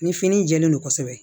Ni fini in jɛlen don kosɛbɛ